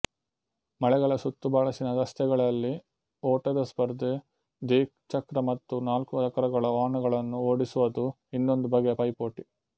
ಮಲೆಗಳ ಸುತ್ತುಬಳಸಿನ ರಸ್ತೆಗಳಲ್ಲಿ ಓಟದ ಸ್ಪರ್ಧೆ ದ್ವಿಚಕ್ರ ಮತ್ತು ನಾಲ್ಕು ಚಕ್ರಗಳ ವಾಹನಗಳನ್ನು ಓಡಿಸುವದು ಇನ್ನೊಂದು ಬಗೆಯ ಪೈಪೋಟಿ